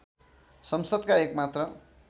संसदका एक मात्र